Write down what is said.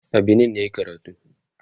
a Benin yayi karatu